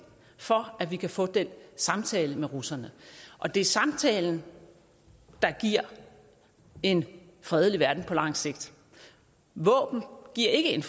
for at vi kan få den samtale med russerne og det er samtalen der giver en fredelig verden på lang sigt våben giver ikke en